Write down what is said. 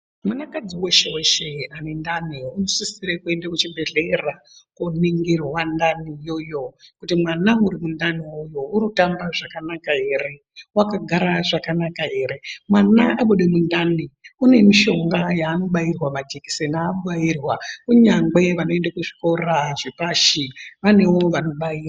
Mwanakadzi weshe weshe unendani unosisira kuenda kuchibhedhleya koningirwa ndani iyoyo kuti mwana uri mundani iyoyo uri kutamba zvakanaka ere, wakagara zvakanaka ere mwana abude mundani une mishonga yaanobairwa majekiseni aanobairwa kunyangwe vanoende kuzvikora zvepashi vanewo vanobaira.